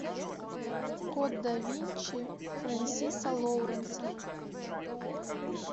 код да винчи френсиса лоуренса